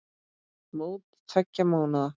Mót tveggja mánaða.